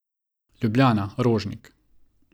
Ljubljana, Rožnik.